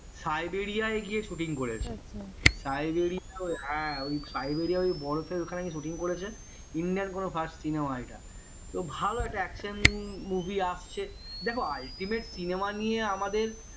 Siberia গিয়ে shooting করেছে Siberia হ্যাঁ Siberia ওই বরফের ওখানে গিয়ে shooting করেছে india কোনো first cinema এটা তো ভালো একটা action movie আসছে দেখো ultimate cinema নিয়ে আমাদের